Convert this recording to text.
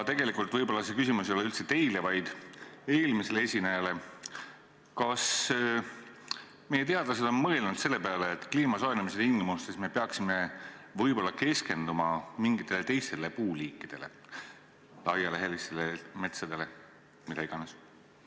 Tegelikult võib-olla see küsimus ei ole üldse teile, vaid eelmisele esinejale, ent kas meie teadlased on mõelnud selle peale, et kliima soojenemise tingimustes me peaksime võib-olla keskenduma mingitele teistele puuliikidele – laialehelistele metsadele, mida iganes?